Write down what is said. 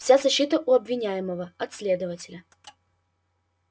вся защита у обвиняемого от следователя